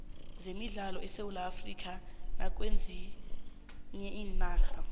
zemidlalo zesewula afrikha nakwezinye iinarha